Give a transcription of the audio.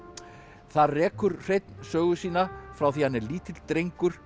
þar rekur Hreinn sögu sína frá því hann er lítill drengur í